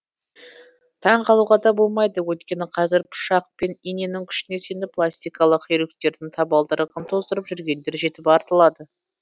таңғалуға да болмайды өйткені қазір пышақ пен иненің күшіне сеніп пластикалық хирургтердің табалдырығын тоздырып жүргендер жетіп артылады